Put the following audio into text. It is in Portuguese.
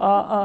hã hã